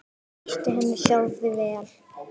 Það lýsti henni sjálfri vel.